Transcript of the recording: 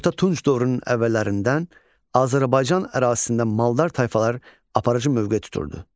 Orta tunc dövrünün əvvəllərindən Azərbaycan ərazisində maldarlar tayfalar aparıcı mövqe tuturdu.